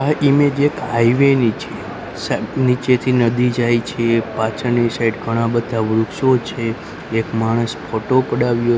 આ ઇમેજ એક હાઈવે ની છે સ નીચેથી નદી જાય છે પાછળની સાઇડ ઘણા બધા વૃક્ષો છે એક માણસ ફોટો પડાવ્યો--